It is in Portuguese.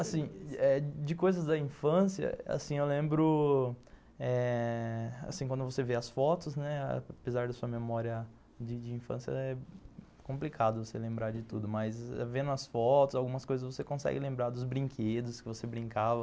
Assim eh, de coisas da infância, assim, eu lembro eh, assim, quando você vê as fotos, né, apesar da sua memória de de infância, é complicado você lembrar de tudo, mas vendo as fotos, algumas coisas você consegue lembrar dos brinquedos que você brincava.